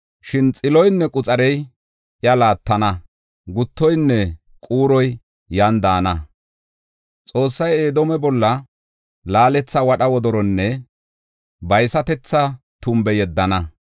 Shin xiloynne quxarey iya laattana; guttoynne quuroy yan daana. Xoossay Edoome bolla laaletha wadha wodoronne baysatetha tumbe yeddana.